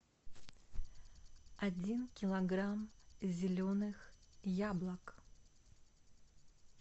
один килограмм зеленых яблок